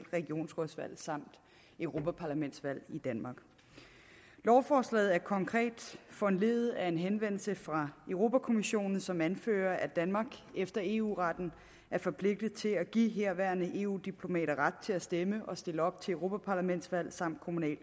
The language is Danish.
regionrådsvalg samt europaparlamentsvalg i danmark lovforslaget er konkret foranlediget af en henvendelse fra europa kommissionen som anfører at danmark efter eu retten er forpligtet til at give herværende eu diplomater ret til at stemme og stille op til europaparlamentsvalg samt